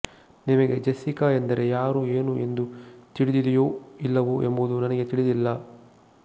ನಿಮಗೆ ಜೆಸ್ಸಿಕಾ ಎಂದರೆ ಯಾರು ಏನು ಎಂದು ತಿಳಿದಿದೆಯೋ ಇಲ್ಲವೋ ಎಂಬುದು ನನಗೆ ತಿಳಿದಿಲ್ಲ